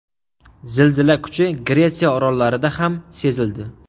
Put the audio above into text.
Zilzila kuchi Gretsiya orollarida ham sezildi.